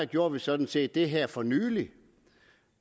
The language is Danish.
gjorde vi sådan set det her for nylig